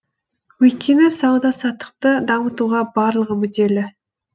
өйткені сауда саттықты дамытуға барлығы мүдделі